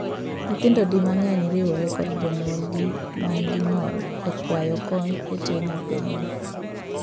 Nyithindo di mang'eny riwore kod jonyuolgi man gi ng'ol e kwayo kony e teng apeyni.